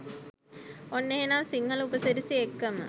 ඔන්න එහෙනම් සිංහල උප සිරැසි එක්කම